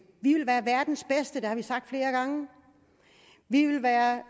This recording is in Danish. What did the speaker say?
vi vil være verdens bedste det har vi sagt flere gange vi vil være